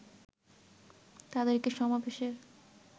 তাদেরকে সমাবেশের